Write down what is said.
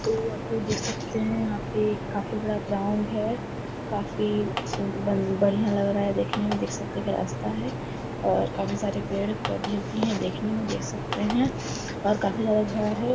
तो आप लोग देख सकते हैं यहां पे काफी बड़ा ग्राउंड है। काफी बन बढ़िया लग रहा है देखने में। देख सकते हैं एक रास्ता है और काफी सारे पेड़-पौधे भी हैं देखने में देख सकते हैं और काफी ज्यादा घर है।